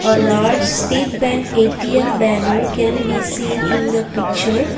a large state bank A_T_M banner can be seen in the picture.